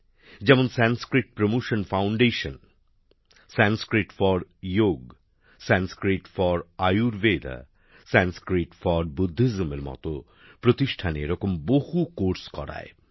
যেমন Sanskrit promotion foundation Sanskrit for Yog Sanskrit for Ayurveda ও Sanskrit for বুদ্ধইজমের প্রতিষ্ঠানে বহু পাঠক্রম শুরু হয়েছে